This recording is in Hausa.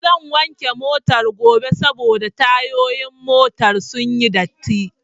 Zan wanke Motar gobe saboda tayoyin motar sunyi datti